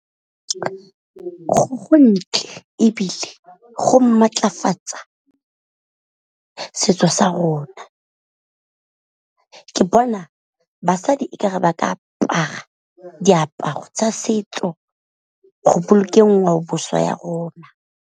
Go ntle ebile go maatlafatsa setso sa rona, ke bona basadi e ka re ba ka apara diaparo tsa setso go bolokeng ngwaoboswa ya rona.